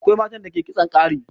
Akwai matan da ke kitson ƙari.